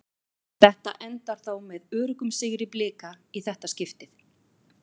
Þetta endar þó með öruggum sigri Blika í þetta skiptið.